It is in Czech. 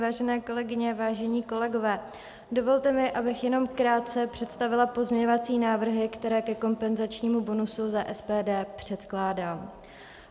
Vážené kolegyně, vážení kolegové, dovolte mi, abych jenom krátce představila pozměňovací návrhy, které ke kompenzačnímu bonusu za SPD předkládám.